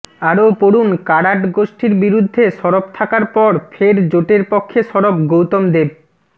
আরও পড়ুন কারাট গোষ্ঠীর বিরুদ্ধে সরব থাকার পর ফের জোটের পক্ষে সরব গৌতম দেব